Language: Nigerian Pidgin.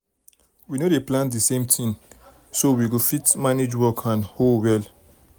we no dey plant the same time so so we fit manage work and hoe well.